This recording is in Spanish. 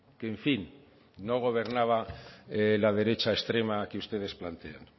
que en fin no gobernaba la derecha extrema que ustedes plantean